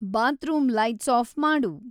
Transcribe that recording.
bathroom lights off ಮಾಡು